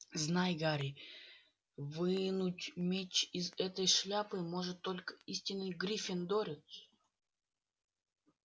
знай гарри вынуть меч из этой шляпы может только истинный гриффиндорец